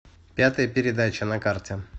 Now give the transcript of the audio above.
пятая передача на карте